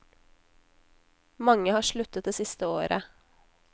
Mange har sluttet det siste året.